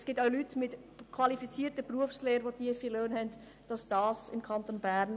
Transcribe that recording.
Es gibt auch Leute mit qualifizierter Berufslehre, die tiefe Löhne haben.